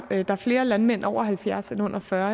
flere landmænd over halvfjerds år end under fyrre